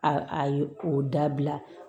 A a a ye o dabila